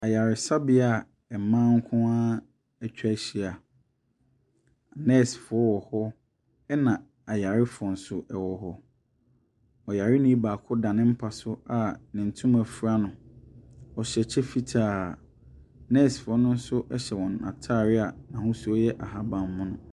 Ayaresabea a mmaa nko ara atwa ahyia. Nursefo wɔ hɔ na ayarefo nso wɔ hɔ. Ɔyareni baako da ne mpa so a ne ntoma fura no. Ɔhyɛ kyɛ fitaa. Nursefo no nso hyɛ wɔn ntaare a ahosuo no yɛ ahabanmono.